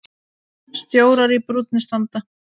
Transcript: Stjórar í brúnni standa.